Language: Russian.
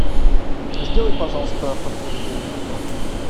сделай пожалуйста подтверждение оплаты